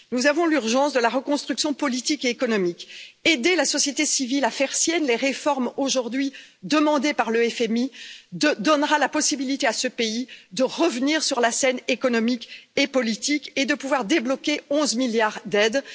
Nous voyons l'urgence de la reconstruction politique et économique aider la société civile à faire siennes les réformes aujourd'hui demandées par le FMI donnera la possibilité à ce pays de revenir sur la scène économique et politique et de pouvoir débloquer 11 milliards d'euros d'aides.